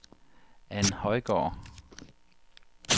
Ann Højgaard